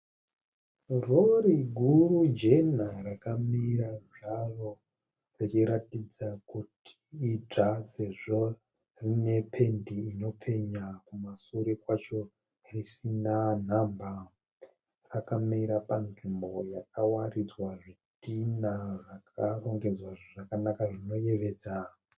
Rori guru jena rakamira zvaro richiratidza kuti idzva sezvo rine pendi inopenya, kumashure kwacho risina nhamba. Rakamira panzvimbo yakawaridzwa zvitinha zvakarongedzwa zvakanaka zvinoyevedza.